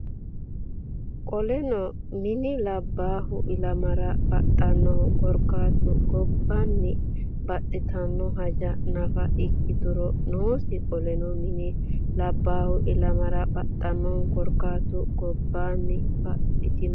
Qoleno mini Labbaahu ilamara baxannohu korkaatu gobbaanni baxxitino haja nafa ikkituro noosi Qoleno mini Labbaahu ilamara baxannohu korkaatu gobbaanni baxxitino.